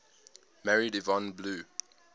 married yvonne blue